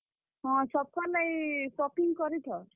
ହଁ, ସବକର୍ ଲାଗି shopping କରିଥ।